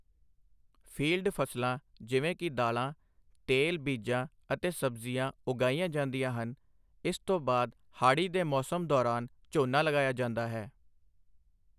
Field ਫਸਲਾਂ ਜਿਵੇਂ ਕਿ ਦਾਲ਼ਾਂ, ਤੇਲ ਬੀਜਾਂ ਅਤੇ ਸਬਜ਼ੀਆਂ ਉਗਾਈਆਂ ਜਾਂਦੀਆਂ ਹਨ, ਇਸ ਤੋਂ ਬਾਅਦ ਹਾੜ੍ਹੀ ਦੇ ਮੌਸਮ ਦੌਰਾਨ ਝੋਨਾ ਲਗਾਇਆ ਜਾਂਦਾ ਹੈ।